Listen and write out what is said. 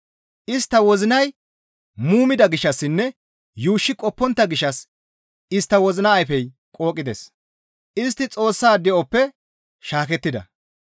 Istta wozinay muumida gishshassinne yuushshi qoppontta gishshas istta wozina ayfey qooqides; istti Xoossa de7oppe shaakettida.